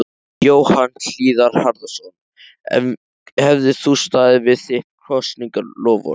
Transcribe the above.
Jóhann Hlíðar Harðarson: En hefðir þú staðið við þitt kosningaloforð?